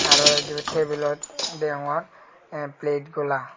tare ibot tabilot deongor plate gola.